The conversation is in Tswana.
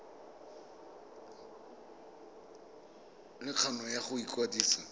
le kgano ya go ikwadisa